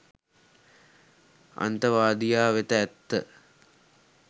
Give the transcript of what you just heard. අන්තවාදියා වෙත ඇත්ත .